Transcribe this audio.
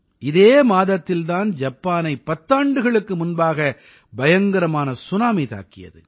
இதே மாதத்தில் தான் ஜப்பானை பத்தாண்டுகளுக்கு முன்பாக பயங்கரமான சுனாமி தாக்கியது